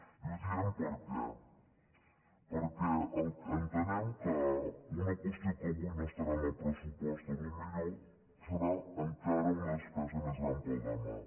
i ho diem per què perquè entenem que una qüestió que avui no estarà en el pressupost potser serà encara una despesa més gran per al demà